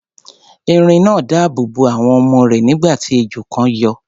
Erin náà dáàbò bo àwọn ọmọ rẹ̀, nígbà tí ejò kan yọ.